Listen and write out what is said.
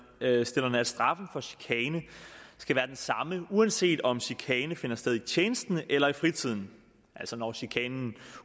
ønsker at straffen for chikane skal være den samme uanset om chikane finder sted i tjenesten eller i fritiden altså når chikanen